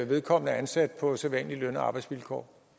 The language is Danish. vedkommende er ansat på sædvanlige løn og arbejdsvilkår